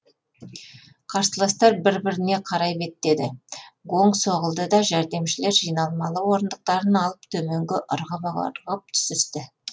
қарсыластар бір біріне қарай беттеді гонг соғылды да жәрдемшілер жиналмалы орындықтарын алып төменге ырғып ырғып түсісті